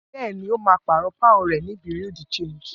Bẹ́ẹ̀ ni, ó máa pààrọ̀ pọ́ùn rẹ̀ ní bureau de change.